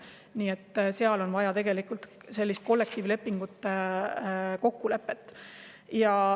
Nii et seal on vaja kollektiivset kokkulepet.